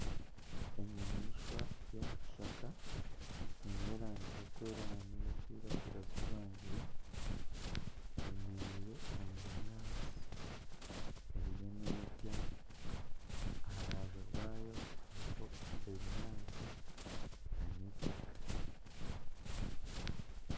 Enyamaishwa y'omu kishaka eine erangi y'okwera na neyo kwiragura zijwangire eyemereire omu binyaatsi eriyo nerya aharubaju rwayo hariho ebinyaatsi na n'itaaka.